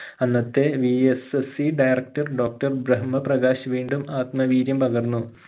അന്നത്തെ VSSEdirectordoctor ബ്രഹ്മ പ്രകാശ് വീണ്ടും ആത്മ വീര്യം പകർന്നു